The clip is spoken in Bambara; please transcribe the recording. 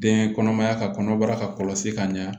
Den kɔnɔmaya ka kɔnɔbara ka kɔlɔsi ka ɲɛ